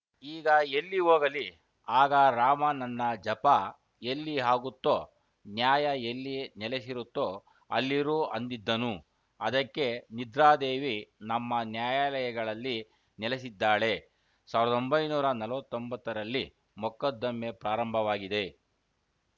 ಈಗ ಎಲ್ಲಿ ಹೋಗಲಿ ಆಗ ರಾಮ ನನ್ನ ಜಪ ಎಲ್ಲಿ ಹಾಗುತ್ತೋ ನ್ಯಾಯ ಎಲ್ಲಿ ನೆಲೆಸಿರುತ್ತೋ ಅಲ್ಲಿರು ಅಂದಿದ್ದನು ಅದಕ್ಕೆ ನಿದ್ರಾದೇವಿ ನಮ್ಮ ನ್ಯಾಯಾಲಯಗಳಲ್ಲಿ ನೆಲೆಸಿದ್ದಾಳೆ ಸಾವಿರದ ಒಂಬೈನೂರ ನಲವತ್ತೊಂಬತ್ತರಲ್ಲಿ ಮೊಕದ್ದಮೆ ಪ್ರಾರಂಭವಾಗಿದೆ